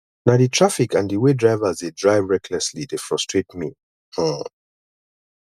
na di traffic and di way drivers dey drive recklessly dey frustrate me um